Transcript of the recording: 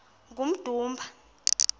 kummdumba